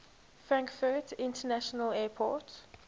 frankfurt international airport